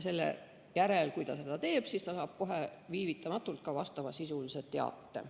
Kui ta seda teeb, siis ta saab kohe vastavasisulise teate.